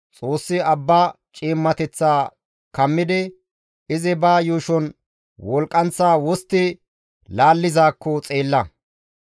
Xoossi abba ciimmateththa kammidi izi ba yuushon wolqqanththa wostti laallizaakko xeella.